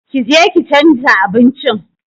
Ƙi je ki chanza abincin!